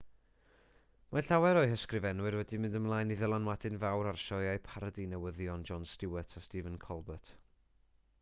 mae llawer o'u hysgrifenwyr wedi mynd ymlaen i ddylanwadu'n fawr ar sioeau parodi newyddion jon stewart a stephen colbert